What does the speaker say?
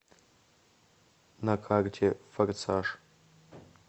на карте форсаж